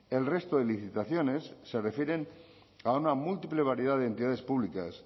el resto de licitaciones se refieren a una múltiple variedad de entidades públicas